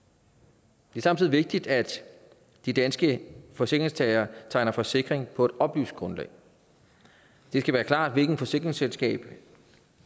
det er samtidig vigtigt at de danske forsikringstagere tegner forsikring på et oplyst grundlag det skal være klart hvilket forsikringsselskab